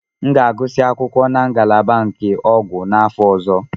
M ga-agụsị akwụkwọ na ngalaba nke ọgwụ n'afọ ọzọ.